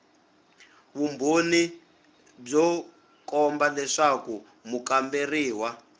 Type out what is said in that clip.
vumbhoni byo komba leswaku mukamberiwa